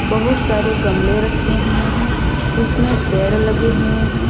बहुत सारे गमले रखे हुए हैं उसमें पेड़ लगे हुए हैं।